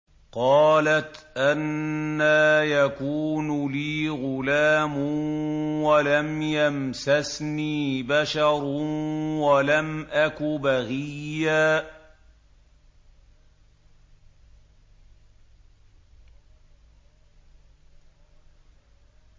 قَالَتْ أَنَّىٰ يَكُونُ لِي غُلَامٌ وَلَمْ يَمْسَسْنِي بَشَرٌ وَلَمْ أَكُ بَغِيًّا